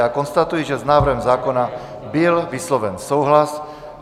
Já konstatuji, že s návrhem zákona byl vysloven souhlas.